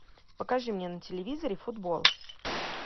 покажи мне на телевизоре футбол